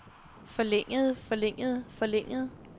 forlængede forlængede forlængede